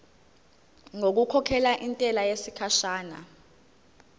ngokukhokhela intela yesikhashana